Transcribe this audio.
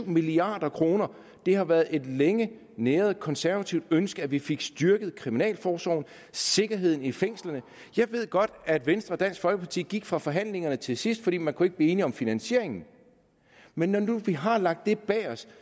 milliard kroner det har været et længe næret konservativt ønske at vi fik styrket kriminalforsorgen sikkerheden i fængslerne jeg ved godt at venstre og dansk folkeparti gik fra forhandlingerne til sidst fordi man ikke kunne blive enige om finansieringen men når nu vi har lagt det bag os